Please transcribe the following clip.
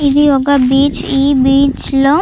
ఇది ఒక బీచ్ . ఈ బీచ్ లో --